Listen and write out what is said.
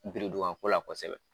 Birinduban ko la kosɛbɛ